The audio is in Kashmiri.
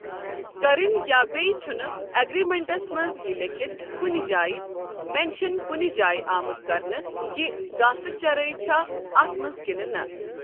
کَرٕنۍ یا بیٚیہِ چُھنہٕ اگرمینٹس مٛنز یہِ لٮ۪کِتھ کُنہِ جاے مینشن کُنہِ جاے آمُت کَرنہٕ کہِ گاسہٕ چرٲے چھا اتھ منٛز کِنہٕ نہٕ۔